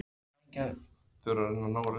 Skattur á arf hækkar um áramótin